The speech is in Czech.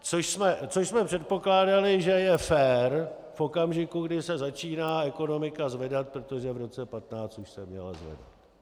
Což jsme předpokládali, že je fér v okamžiku, když se začíná ekonomika zvedat, protože v roce 2015 už se měla zvedat.